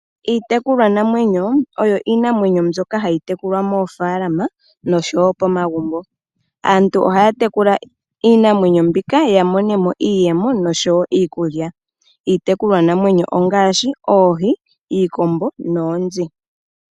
Iitekulwa namwenyo oyo iinamwenyo mbyoka hayi tekulwa moofalama noshowo pomagumbo . Aantu ohaya tekula iinamwenyo mbika ya monemo iiyemo noshowo iikulya. Iitekulwa namwenyo ongaashi oohi, iikombo noonzi.